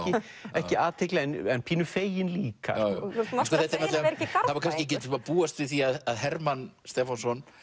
ekki athygli en pínu feginn líka sko það var kannski ekki að búast við því að Hermann Stefánsson